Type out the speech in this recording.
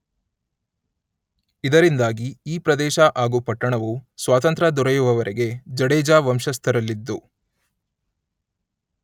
ಇದರಿಂದಾಗಿ ಈ ಪ್ರದೇಶ ಹಾಗೂ ಪಟ್ಟಣವು ಸ್ವಾತಂತ್ರ್ಯ ದೊರೆಯುವವರೆಗೆ ಜಡೇಜ ವಂಶಸ್ಥರಲ್ಲಿದ್ದು